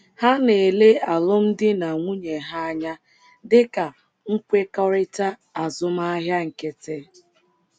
Ha na - ele alụmdi na nwunye ha anya dị ka nkwekọrịta azụmahịa nkịtị.